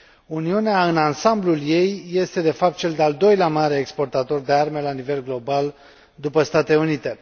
Uniunea, în ansamblul ei, este, de fapt, cel de al doilea mare exportator de arme la nivel global, după Statele Unite.